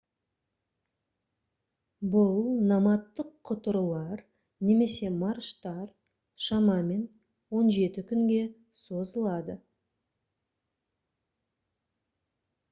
бұл номадтық құтырулар немесе марштар шамамен 17 күнге созылады